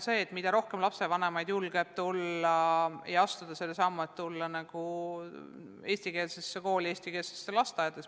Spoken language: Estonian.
Esiteks, mida rohkem lapsevanemaid julgeb astuda selle sammu, et panna laps eestikeelsesse kooli või eestikeelsesse lasteaeda, seda parem.